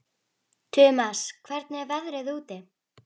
Tumas, hvernig er veðrið úti?